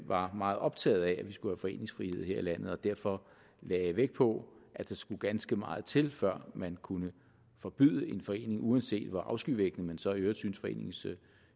var meget optaget af at vi skulle have foreningsfrihed her i landet og derfor lagde vægt på at der skulle ganske meget til før man kunne forbyde en forening uanset hvor afskyvækkende man så i øvrigt syntes foreningens